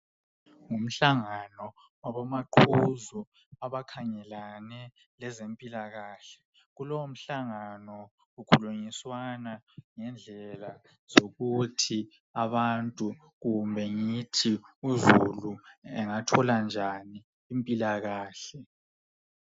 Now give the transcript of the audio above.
Ngumhlangano wabomaqhuzu abakhangelane ngezempilakahle, kulowo mhlangano kukhulunyiswana ngendlela zokuthi abantu kumbe ngithi uzulu engathola njani impilakahle.